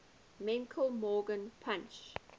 menke morgan punch